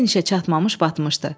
Finişə çatmamış batmışdı.